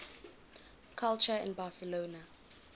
culture in barcelona